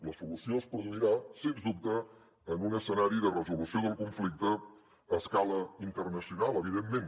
la solució es produirà sens dubte en un escenari de resolució del conflicte a escala internacional evidentment